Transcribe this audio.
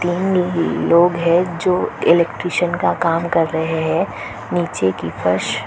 लोग है जो इलेक्टिशियन का काम कर रहे है नीचे की फर्श --